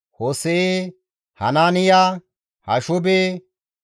Hose7e, Hanaaniya, Hashube,